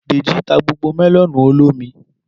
Dèjì ta gbogbo melonu olómi